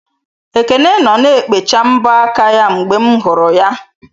Ekene nọ na-ekpecha mbọ aka ya mgbe m hụrụ ya.